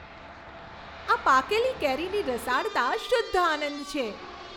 આ પાકેલી કેરીની રસાળતા શુદ્ધ આનંદ છે.